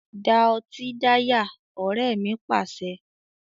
Da ọtí dáyà! Ọrẹ mi Pàṣẹ.